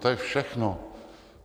To je všechno.